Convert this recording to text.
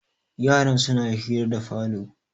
yaran suna hira da falo